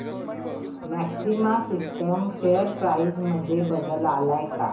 maxima Systems share price मध्ये बदल आलाय का